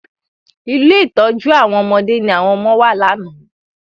Ilé ìtọ́jú àwọn ọmọdé ní àwọn ọmọ wà lánàá.